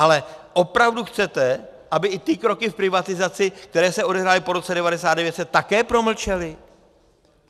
Ale opravdu chcete, aby i ty kroky v privatizaci, které se odehrály po roce 1999, se také promlčely?